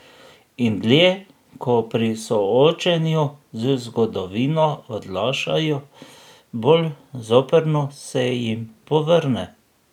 In dlje ko pri soočenju z zgodovino odlašajo, bolj zoprno se jim povrne.